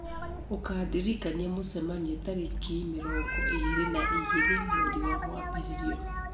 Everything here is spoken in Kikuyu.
ũkandirikania mũcemanio tarĩki mĩrongo ĩrĩ na igĩrĩ mweri wa mwambĩrĩrio